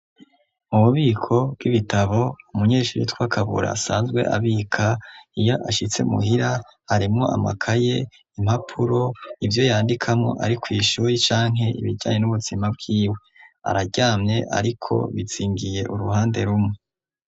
Ububiko bw'ibitabo umunyeshuri yitwa Kabura asanzwe abika iyo ashitse muhira, harimwo amakaye, impapuro, ivyo yandikamwo ari kw'ishure canke ibijanye n'ubuzima bwiwe. Araryamye ariko bizingiye uruhande rumwe.